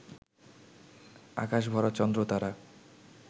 আকাশ ভরা চন্দ্র-তারা,